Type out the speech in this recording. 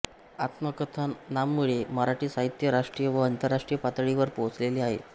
आत्मकथनांमुळे मराठी साहित्य राष्ट्रीय व आंतरराष्ट्रीय पातळीवर पोहोचलेले आहे